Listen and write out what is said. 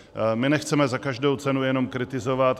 My nechceme za každou cenu jenom kritizovat.